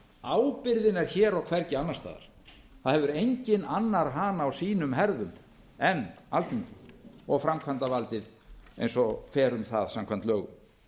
ábyrgðin er hér og hvergi annars staðar það hefur enginn annar hana á sínum herðum en alþingi og framkvæmdarvaldið eins og fer um það samkvæmt lögum